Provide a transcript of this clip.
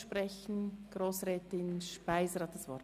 Grossrätin Speiser hat das Wort.